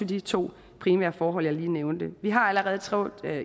de to primære forhold jeg lige har nævnt vi har allerede